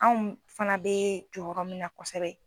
Anw fana bɛ jɔyɔrɔ min na kosɛbɛ